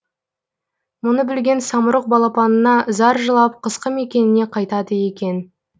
мұны білген самұрық балапанына зар жылап қысқы мекеніне қайтады екен